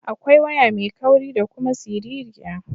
Akwai waya mai kauri da kuma siririya.